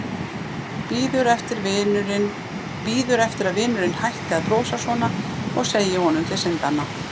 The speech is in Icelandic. Bíður eftir að vinurinn hætti að brosa svona og segi honum til syndanna.